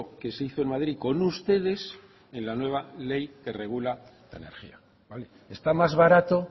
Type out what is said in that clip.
que se hizo en madrid con ustedes en la nueva ley que regula la energía está más barato